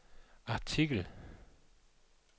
artikel